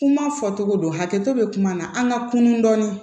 Kuma fɔcogo don hakɛto bɛ kuma na an ka kunu dɔɔni dɔɔni